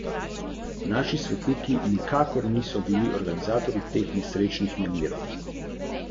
Je pa prejem sodbe potrdil direktor občinske uprave Tržič Drago Zadnikar.